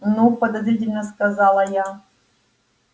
ну подозрительно сказала я